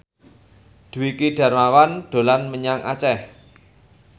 Dwiki Darmawan dolan menyang Aceh